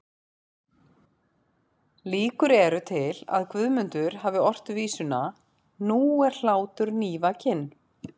Líkur eru til að Guðmundur hafi ort vísuna Nú er hlátur nývakinn